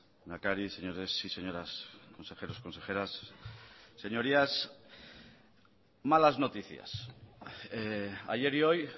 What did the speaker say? lehendakari señores y señoras consejeros consejeras señorías malas noticias ayer y hoy